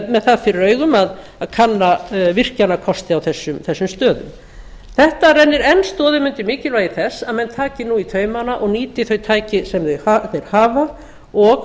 með það fyrir augum að kanna virkjunarkosti á þessum stöðum þetta rennir enn stoðum undir mikilvægi þess að menn taki nú í taumana og nýti þau tæki sem þeir hafa og